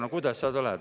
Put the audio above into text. No kuidas sa lähed?